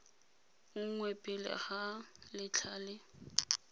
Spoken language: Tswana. nngwe pele ga letlha le